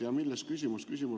Ja milles on küsimus?